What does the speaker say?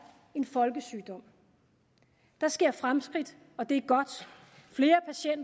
en folkesygdom der sker fremskridt og det